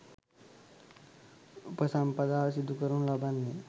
උපසම්පදාව සිදු කරනු ලබන්නේ